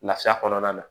Lafiya kɔnɔna na